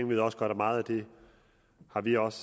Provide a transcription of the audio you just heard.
ved også godt at meget af det har vi også